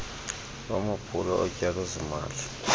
lwamaphulo otyalo zimali